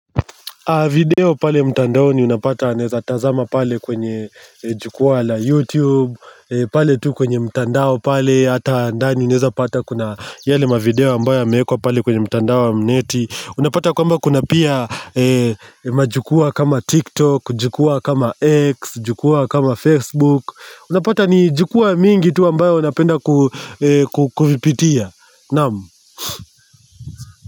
Video pale mtandaoni unapata ninaeza tazama pale kwenye jukua la YouTube pale tu kwenye mtandao pale ata andani unaeza pata kuna yale mavideo ambayo yameekwa pale kwenye mtandao ya mneti Unapata kwamba kuna pia majukua kama TikTok, jukua kama X, jukua kama Facebook Unapata ni jukua mingi tu ambayo unapenda kuvipitia Nam.